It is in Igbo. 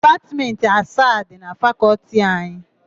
Dipatmentị asaa dị na Fakọltị anyị.